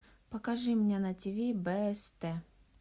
покажи мне на тв бст